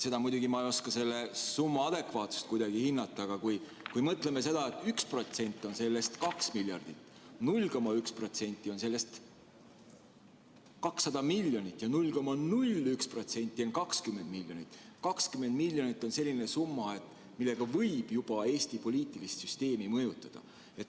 Ma muidugi ei oska selle summa adekvaatsust hinnata, aga kui me mõtleme nii, et sellest 1% on 2 miljardit ja 0,1% on 200 miljonit ja 0,01% on 20 miljonit, siis 20 miljonit on selline summa, millega võib juba Eesti poliitilist süsteemi mõjutada.